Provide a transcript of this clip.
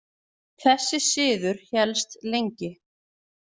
Þessi siður hélst lengi.